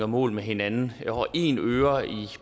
mål med hinanden og en øre i